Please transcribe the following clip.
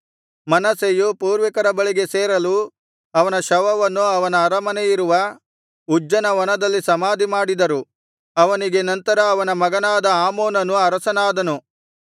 ಮನಸ್ಸೆಯು ಪೂರ್ವಿಕರ ಬಳಿಗೆ ಸೇರಲು ಅವನ ಶವವನ್ನು ಅವನ ಅರಮನೆಯಿರುವ ಉಜ್ಜನ ವನದಲ್ಲಿ ಸಮಾಧಿಮಾಡಿದರು ಅವನಿಗೆ ನಂತರ ಅವನ ಮಗನಾದ ಆಮೋನನು ಅರಸನಾದನು